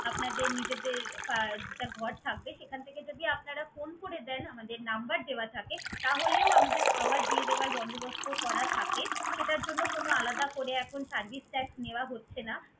আপনাদের নিজেদের আহ যেটা ঘর থাকবে সেখান থেকে যদি আপনারা phone করে দেন, আমাদের number দেওয়া থাকে, তাহলেও আমাদের খাবার দিয়ে দেওয়ার বন্দোবস্ত করা থাকে। সেটার জন্য কোন আলাদা করে এখন service charge নেওয়া হচ্ছে না।